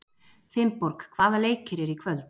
Finnborg, hvaða leikir eru í kvöld?